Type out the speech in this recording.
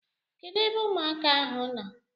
Kedụ ebe ụmụaka ahụ nọ?